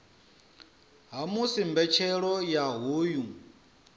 ha musi mbetshelo ya hoyu